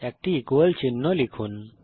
একটি ইকুয়াল চিহ্ন লিখুন